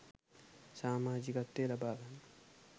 සාමාජිකත්වය ලබා ගන්න.